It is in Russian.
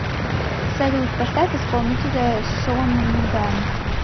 салют поставь исполнителя сону нигам